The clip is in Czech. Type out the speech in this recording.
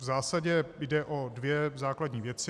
V zásadě jde o dvě základní věci.